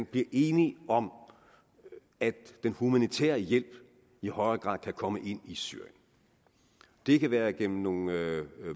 bliver enige om at den humanitære hjælp i højere grad kan komme ind i syrien det kan være igennem nogle